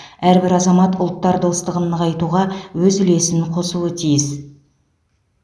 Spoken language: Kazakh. әрбір азамат ұлттар достығын нығайтуға өз үлесін қосуы тиіс